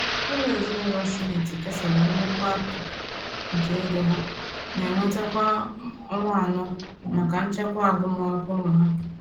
Ụlọ ezinaụlọ Smith kesara nnukwu akụkụ nke ego ha na-enweta kwa ọnwa anọ maka nchekwa agụmakwụkwọ ụmụ ha.